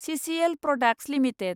सिसिएल products limited